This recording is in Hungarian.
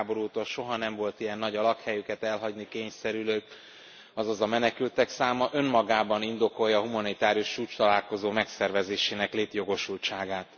világháború óta soha nem volt ilyen nagy a lakhelyüket elhagyni kényszerülők, azaz a menekültek száma, önmagában indokolja a humanitárius csúcstalálkozó megszervezésének létjogosultságát.